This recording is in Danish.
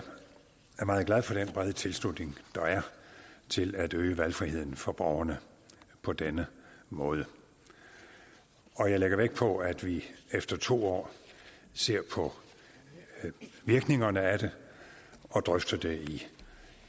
er meget glad for den brede tilslutning der er til at øge valgfriheden for borgerne på denne måde og jeg lægger vægt på at vi efter to år ser på virkningerne af det og drøfter det